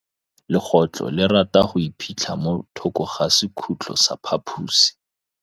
Legôtlô le rata go iphitlha mo thokô ga sekhutlo sa phaposi.